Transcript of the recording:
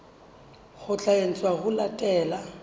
ho tla etswa ho latela